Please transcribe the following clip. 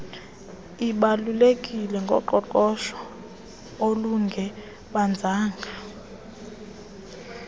ibalulekileyo ngoqoqosho olungebanzanga